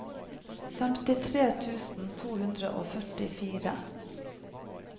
femtitre tusen to hundre og førtifire